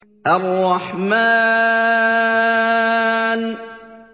الرَّحْمَٰنُ